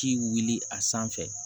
Ci wuli a sanfɛ